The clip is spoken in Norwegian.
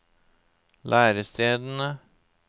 lærestedene